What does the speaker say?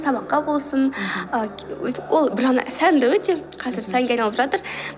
сабаққа болсын мхм өйтіп ол бір жағынан сәнді өте қазір сәнге айналып жатыр